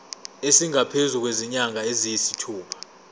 esingaphezu kwezinyanga eziyisithupha